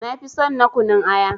Nafi son na kunun aya.